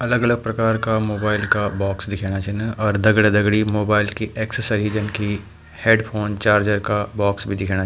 अलग-अलग प्रकार का मोबाइल का बॉक्स दिखेणा छिन और दगड़ा-दगड़ी मोबाइल की एक्सेसरीज जन की हैडफ़ोन चार्जर का बॉक्स भी दिखेणा।